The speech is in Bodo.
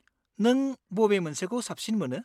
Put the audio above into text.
नों बबे मोनसेखौ साबसिन मोनो?